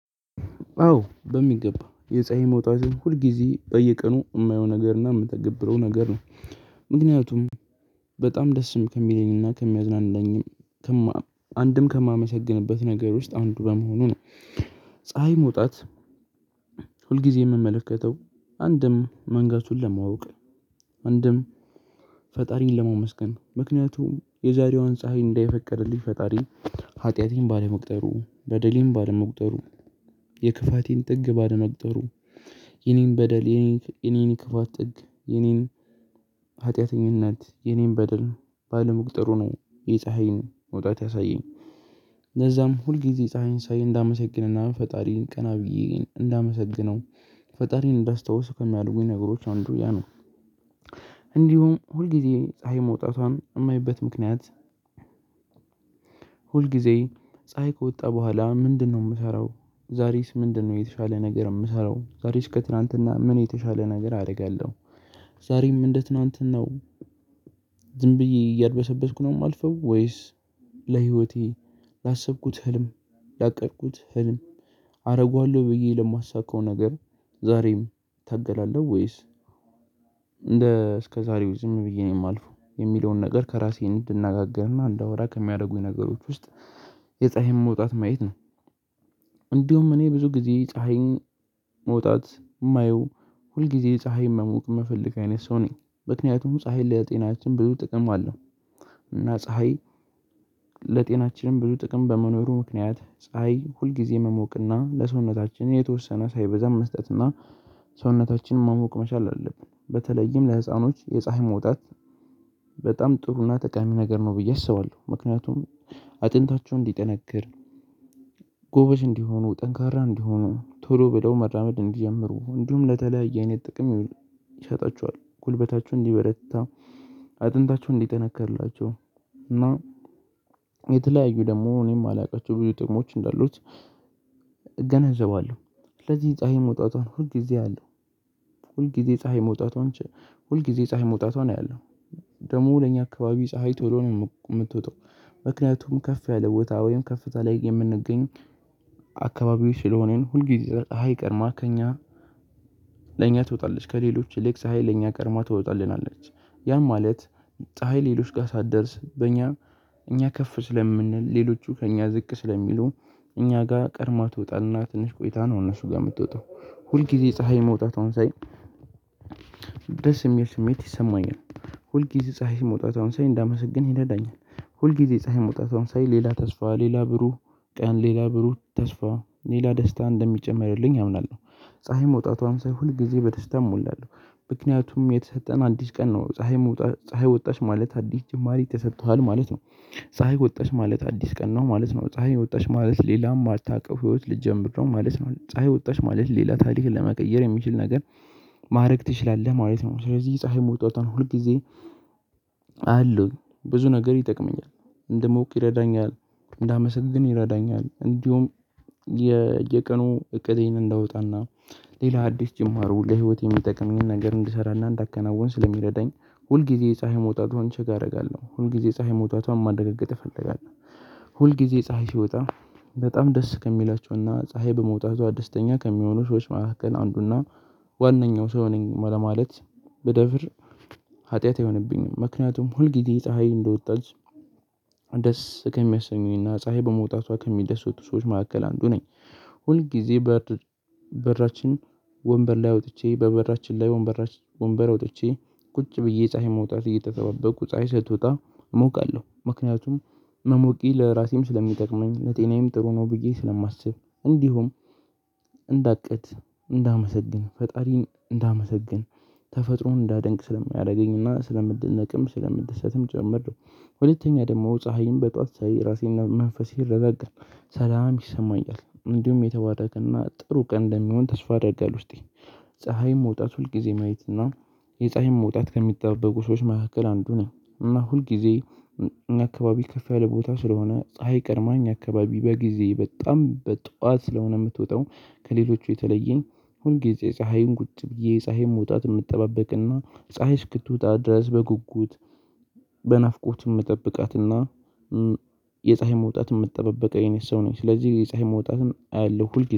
አዎ በሚገባ የፀሀይ መውጣትን ሁልጊዜ በየቀኑ እማየው ነገር እና እምትገብረው ነገር ነው ምክንያቱም በጣም ደስም ከሚለኝና ከሚያዝናናኝም አንድም ከማመሰግንበት ነገር ውስጥ አንዱ በመሆኑ ነው። ፀሀይ መውጣት ሁልጊዜ እምመለከተው አንድም መንጋቱን ለማወቅ። አንድም ፈጣሪን ለመመስገን ምክንያቱም የዛሬዋን ፀሀይ እንዳይ የፈቀደልኝ ፈጣሪ ሀጢያቴን ባለመቁጠሩ በደሌም ባለመቁጠሩ የክፋቴን ጥግ ባለመቁጠሩ የእኔን በደል የእኔን የክፋት ጥግ የእኔን ሀጢያተኝነት የእኔን በደል ባለመቅጠሩ ነው የፀሀይን መውጣት ያሳየኝ። ለዛም ሁልጊዜ ፀሀይን ሳይ እንዳመሰግነና ፈጣሪን ቀና ብዬ እንዳመሰግነው ፈጣሪን እንዳስታውስ ከሚያድጉኝ ነገሮች አንዱ ያ ነው። እንዲሁም ሁልጊዜ ፀሀይ መውጣቷን እማይበት ምክንያት? ሁል ጊዜ ፀሀይ ከወጣ ቡሃላ ምንድነው እምሰራው ዛሬስ ምንድነው የተሻለ ነገር እምሰራው ዛሬስ ከትላንትና ምን የተሻለ ነገር አደርጋለሁ? ዛሬም እንደ ትላንትናው ዝም ብዬ እያድበሰበስኩ ነው እማልፈው ወይስ? ለህይወቴ ላሰብኩት ህልም ላቀድኩት ህልም አደርገዋለሁ ብዬ ለማሳካው ነገር። ዛሬም እታገላለሁ ወይስ? እንደ እስከ ዛሬው ዝም ብዬ ነው የማልፈው የሚለውን ነገር ከራሴ እንድናገርና እንዳወራ ከሚያደርጉኝ ነገሮች ውስጥ የፀሀይን መውጣት ማየት ነው። እንዲሁም እኔ ብዙ ጊዜ ፀሀይን መውጣት እማየው ሁል ጊዜ ፀሀይን መሞቅ እምፈልግ አይነት ሰው ነኝ ምክንያቱም ፀሀይን ለጤናችን ብዙ ጥቅም አለው። እና ፀሀይ ለጤናችንም ብዙ ጥቅም በመኖሩ ምክንያት ፀሀይ ሁልጊዜ መሞቅና ለሰውነታችን የተወሰነ ሳይበዛም መስጠትና ሰውነታችንን መሞቅ መቻል አለበት። በተለይም ለህፃኖች የፀሀይ መውጣት በጣም ጥሩና ጠቃሚ ነገር ነው ብዬ አስባለሁ። ምክንያቱም አጥንታቸሁ እንዲጠነክር ጎበዥ እንዲሆኑ ጠንካራ እንዲሆኑ ቶሎ በደው መራመድ እንዲጀምሩ እንዲሁም ለተለያየ አይነት ጥቅም እሸጣችኋል ጉልበታችሁ እንዲበረታ አጥንታቸው እንዲጠነከርላቸው እና የተለያዩ ደግሞ እኔ እማላውቃቸው ብዙ ጥቅሞች እንዳሉት። እገነዘባለሁ ስለዚህ ፀሀይ መውጣቷን ሁል ጊዜ አያለሁ። ሁል ጊዜ ፀሀይ መውጣቷን ሁል ጊዜ ፀሀይ መውጣቷን አያለሁ ደግሞ ለኛ አካባቢ ፀሀይ ቶሎ ነው እምትወጣው። ምክንያቱም ከፍ ያለ ቦታ ወይም ከፍታ ላይ የምንገኝ አካባቢው ስለሆነን ሁልጊዜ ቀርማ ከእኛ ለእኛ ትወጣለች ከሌሎች ይልቅ ፀሀይ ለእኛ ቀርማ ትወጣለች። ያም ማለት ፀሀይ ሌሎች ጋኸ ሳትደርስ በእኛ እኛ ከፍ ስለምንል ሌሎቹ ከእኛ ዝቅ ስለሚሉ እኛ ጋ ቀርማ ትወጣ ትንሽ ቆይታ ነው። እነሱ ጋር እምትወጣው ሁል ጊዜ ፀሀይ መውጣቷን ሳይ ደስ ሚል ስሜት ይሰማኛል። ሁልጊዜ ፀሀይ መውጣትሽ ሳይ እንዳመሰግን ይለዳኛል ሁልጊዜ ፀሀይ መውጣቷን ሳይ ሌላ ተስፋ ሌላ ብሩህ ቀን ሌላ ብሩህ ተስፋ ሌላ ደስታ እንደሚጨመርልኝ አምናለሁ። ፀሀይ መውጣቷን ሳይ ሁል ጊዜ በተሽታም እሞላለሁ ምክንያቱም የተሰጠን አንዲት ቀን ነው። ፀሀይ ወጣች ማለት አዲስ ጭማሪ ተሰጥቶሃል ማለት ነው። ፀሀይ ወጣሽ ማለት አዲስ ቀን ነው ማለት ነው ፀሀይ ወጣሽ ማለት ሌላም እማታውቀው ህይወት ልትጀምር ነው ማለት ነው ፀይ ወጣሽ ማለት ሌላ ታሪክን ለመቀየር የሚችል ነገር። ማድረግ ትችላለህ ማየት ነው ስለዚህ ፀሀይ መውጣቷን ሁል ጊዜ አለው ብዙ ነገር ይጠቅመኛል። እንደሞቅ ይረዳኛል። እንዳመሰግን ይረዳኛል እንዲሁም የየቀኑ እቅዴን እንዳወጣና ሌላ አዲስ ጅማሩ ለህይወት የይሚጠቅም ግን ነገር እንድሰራና እንዳከናወን ስለሚረዳኝ። ሁልግዜ ጊዜ ፀሀይ መውጣቷን ችግ አደርጋለሁ ሁል ጊዜ ፀሀይ መውጣቷን ማረግ እፈልጋለሁ። ሁል ጊዜ ፀሀይ ሲወጣ በጣም ደስ ከሚላቸውና ፀሀይ በመውጣቷ አዲስተኛ ከሚሆኑ ሰዎች መካከል አንዱና ዋናው ሰው ነኝ ለማለት በደፍር ኃጢአት አይሆንብኝም ምክንያቱም ሁልጊዜ ፀሒይ እንደወጣች ደስ ከሚያሰኙኝና ፀሀይ በመውጣቷ ከሚደስቱ ሰዎች መካከል አንዱ ነኝ። ሁል ጊዜ በራችን ወንበር ላይ አውጥቼ በበራችን ላይ ወንበራችን ወንበር ወጥቼ ቁጭ ብዬ ፀሀይ መውጣት እየተሰበበቁ ፀሀይ ስትወጣ እሞቃለሁ ምክንያቱም መሞቂ ለራሴም ስለሚጠቅመኝ ለጤናዬም ጥሩ ነው ብዬ ስለማስብ። እንዲሁም እንዳቅት እንዳመሰግን ፈጣሪን እንዳመሰግን ተፈጥሮን እንዳደንቅ ስለሚያደርገኝና ስለምደነቅም ስለምድሰትም ጭምር። ሁለተኛ ደግሞ ፀሀይን በጥዋት ሳይ ራሴእና መንፈሴን ረበቀ ሰላም ይሰማኛል እንዲሁም የተባረከና ጥሩ ቀን እንደሚሆን ተስፋ ያደርጋል ውስጤ። ፀሀይ መውጣት ሁልጊዜ ማየት እና የፀሀይን መውጣት ከሚጠበቁ ሰዎች መካከል አንዱ ነው። እና ሁልጊዜ አካባቢ ከፍ ያለ ቦታ ስለሆነ ፀሀይ ቀድማ እኛ አካባቢ በግዜ በጣም በጧት ስለሆነ እምትወጣው ከሌሎቹ የተለየ ሁልጊዜ ፀሀይን ቁጭ ብዬ የፀሀይን መውጣት እምጠባበቅና ፀሀይ እስክትወጣ ድረስ በጉጉት በናፍቆት እምጠብቃትና። የፀሀይን መውጣት የምትጠባበቅ አይነት ሰው ነኝ ስለዚህ የፀሀይን መውጣትም አያለሁ ሁልጊዜ